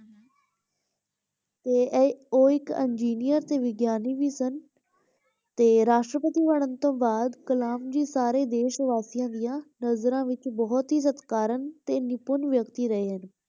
ਤੇ ਇਹ ਉਹ ਇੱਕ engineer ਅਤੇ ਵਿਗਿਆਨੀ ਵੀ ਸਨ ਤੇ ਰਾਸ਼ਟਰਪਤੀ ਬਣਨ ਤੋਂ ਬਾਅਦ ਕਲਾਮ ਜੀ ਸਾਰੇ ਦੇਸ਼ ਵਾਸੀਆਂ ਦੀਆਂ ਨਜ਼ਰਾਂ ਵਿੱਚ ਬਹੁਤ ਹੀ ਸਤਿਕਾਰਨ ਤੇ ਨਿਪੁੰਨ ਵਿਅਕਤੀ ਰਹੇ ਹਨ।